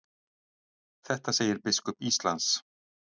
Þetta segir biskup Íslands.